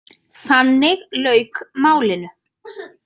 Þannig lauk málinu.